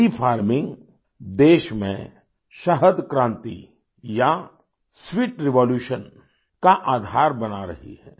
B farming देश में शहद क्रांति या स्वीट रेवोल्यूशन का आधार बना रही है